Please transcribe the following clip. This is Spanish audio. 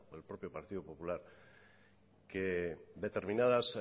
el propio partido popular que determinadas